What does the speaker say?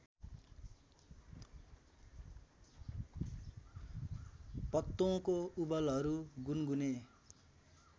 पत्तोंको उबलहरू गुनगुने